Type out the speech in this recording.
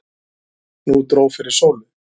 Nú dró fyrir sólu.